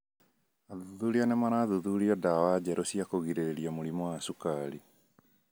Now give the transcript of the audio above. Athuthuria nĩ marathuthuria ndawa njerũ cia kũgirĩrĩria mũrimũ wa cukari .